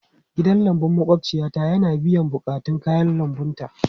Gidan lambun maƙwabciyata yana biyan buƙatun kayan lambunta.